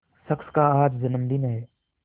शख्स का आज जन्मदिन है